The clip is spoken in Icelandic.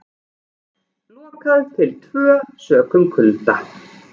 Lokað til tvö sökum kulda